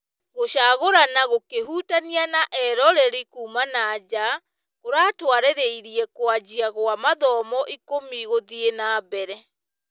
Gũcagũrana gũkĩhutanĩa na eroreri kuuma nanja kũratũarĩrĩire kũanjia kwa mathamo ikũmi gũthiĩ nambere.